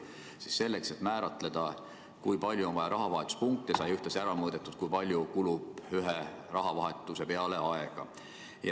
Tookord sai selleks, et määratleda, kui palju on vaja rahavahetuspunkte, ühtlasi ära mõõdetud, kui palju kulub ühe rahavahetuse peale aega.